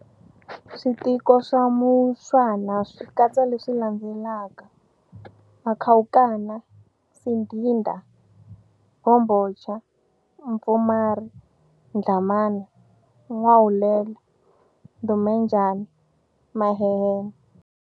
Switiko swa Mushwana swi katsa leswi landzelaka-Makhawukana, Sidida, Mbhombhoch, Mpfumari, Dlamana, N'wahulela, Ndumenjana, Mahehen."